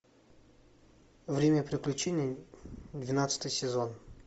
время приключений двенадцатый сезон